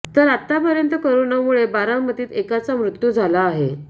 तर आत्तापर्यंत कोरोनामूळे बारामतीत एकाा मृत्यू झाला आहे